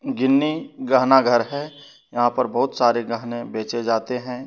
गिन्नी गहना घर है यहां पर बहुत सारे गहने बेचे जाते हैं।